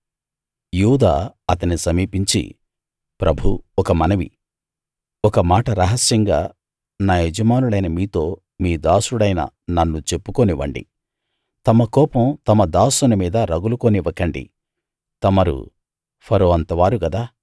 యూదా అతని సమీపించి ప్రభూ ఒక మనవి ఒక మాట రహస్యంగా నా యజమానులైన మీతో మీ దాసుడైన నన్ను చెప్పుకోనివ్వండి తమ కోపం తమ దాసుని మీద రగులుకోనివ్వకండి తమరు ఫరో అంతవారు గదా